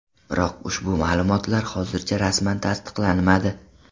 Biroq ushbu ma’lumotlar hozircha rasman tasdiqlanmadi.